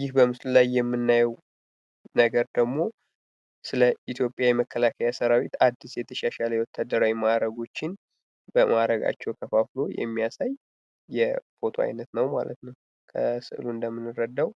ይህ በምስሉ ላይ የምናየው ደግሞ ስለ ኢትዮጵያ የመከላከያ ሰራዊት አድስ የተሻሻለ የወታደራዊ ማዕረጎችን በማዕረጋቸው ከፋፍሎ የሚያሳይ የፎቶ አይነት ነው። ከስዕሉ እንደምንረዳው